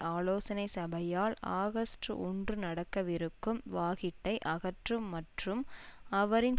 ஆலோசனை சபையால் ஆகஸ்ட் ஒன்று நடக்கவிருக்கும் வாகிட்டை அகற்றும் மற்றும் அவரின்